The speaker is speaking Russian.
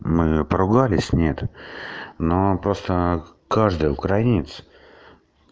мы поругались нет но просто каждый украинец